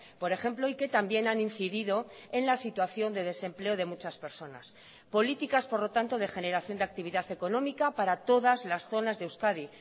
por ejemplo y que también han incidido en la situación de desempleo de muchas personas políticas por lo tanto de generación de actividad económica para todas las zonas de euskadi